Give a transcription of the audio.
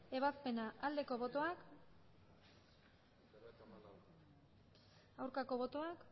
ebazpena aldeko botoak aurkako botoak